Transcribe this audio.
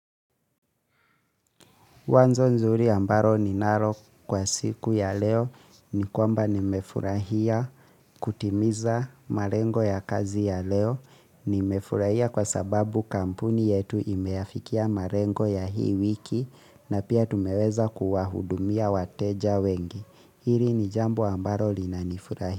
Wazo nzuri ambalo ninalo kwa siku ya leo ni kwamba nimefurahia kutimiza malengo ya kazi ya leo. Nimefurahia kwa sababu kampuni yetu imeafikia malengo ya hii wiki na pia tumeweza kuwahudumia wateja wengi. Hili ni jambu ambalo linanifurahisha.